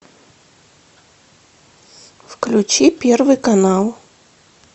включи первый канал